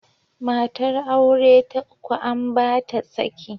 Matar aure ta uku an ba ta saki.